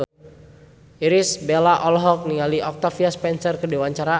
Irish Bella olohok ningali Octavia Spencer keur diwawancara